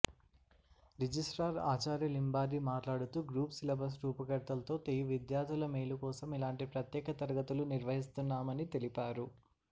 registrar ఆచార్య లింబాద్రి మాట్లాడుతూ groups syllabus రూపకర్తలతో తెయు విద్యార్థుల మేలుకోసం ఇలాంటి ప్రత్యేక తరగతులు నిర్వహిస్తున్నామని తెలిపారు